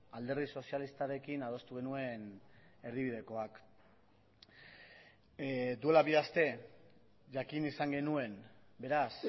alderdi sozialistarekin adostu genuen erdibidekoak duela bi aste jakin izan genuen beraz